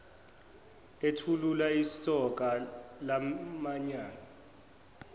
ethulula isoka lamanyala